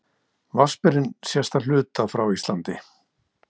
Vatnsberinn sést að hluta frá Íslandi.